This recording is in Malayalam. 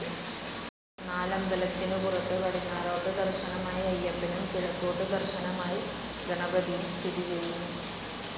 നാലമ്പലത്തിനു പുറത്ത് പടിഞ്ഞാറോട്ട് ദർശ്ശനമായി അയ്യപ്പനും കിഴക്കോട്ട് ദർശനമായി ഗണപതിയും സ്ഥിതി ചെയ്യുന്നു.